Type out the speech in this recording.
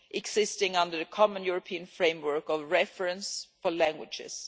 existing under the common European framework of reference for languages?